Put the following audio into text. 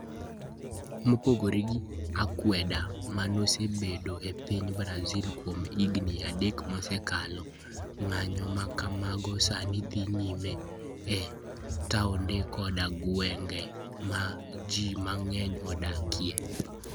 Mopogore gi akwede ma nosebedoe e piny Brazil kuom higini adek mosekalo, ng'anyo ma kamago sani dhi nyime e taonde koda gwenge ma ji mang'eny odakie.